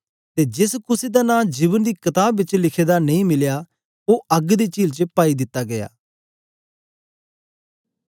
ते जेस कुसे दा नां जीवन दी कताब बिच लिखे दा नेई मिलया ओ अग्ग दी चील च पाई दित्ते गीया